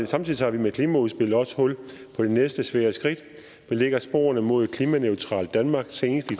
samtidig tager vi med klimaudspillet også hul på de næste svære skridt der lægger sporene mod et klimaneutralt danmark senest i